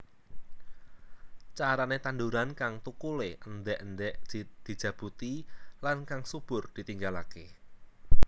Carane tanduran kang thukule endhek endhek dijabuti lan kang subur ditinggalake